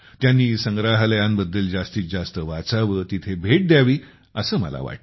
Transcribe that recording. त्यांनी संग्रहालयांबद्दल जास्तीत जास्त वाचावे तिथे भेट द्यावी असे मला वाटते